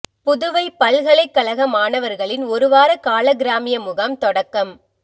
புதுவை பல்கலைக்கழக மாணவா்களின் ஒரு வார கால கிராமிய முகாம் தொடக்கம்